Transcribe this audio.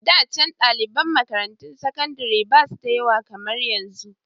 Da can daliban makarantun sakandare basu da yawa kamar yanzu